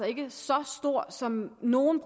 ikke så stor som nogle